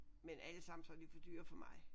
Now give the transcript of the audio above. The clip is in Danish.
Men allesammen så er de for dyre for mig